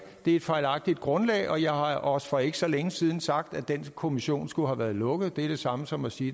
det er et fejlagtigt grundlag og jeg har også for ikke så længe siden sagt at den kommission skulle have været lukket og det er det samme som at sige